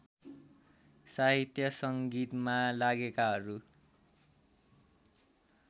साहित्य सङ्गीतमा लागेकाहरू